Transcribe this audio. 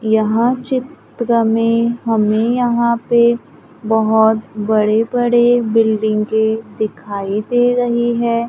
यहां चित्र में हमें यहां पे बहोत बड़े बड़े बिल्डिंगे के दिखाई दे रही हैं।